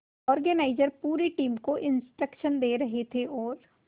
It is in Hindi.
ऑर्गेनाइजर पूरी टीम को इंस्ट्रक्शन दे रहे थे और